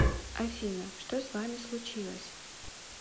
афина что с вами случилось